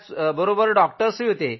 बरोबर डॉक्टरही होते